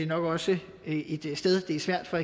nok også et sted det er svært for